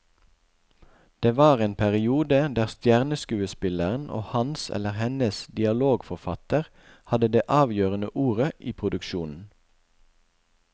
Det var en periode der stjerneskuespilleren og hans eller hennes dialogforfatter hadde det avgjørende ordet i produksjonen.